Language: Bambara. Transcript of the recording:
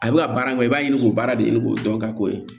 A bɛ ka baara min kɛ i b'a ɲini k'o baara de ɲini k'o dɔn ka k'o ye